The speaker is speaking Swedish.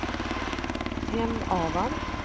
Hemavan